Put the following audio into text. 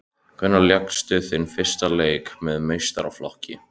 Hvenær lékstu þinn fyrsta leik með meistaraflokki?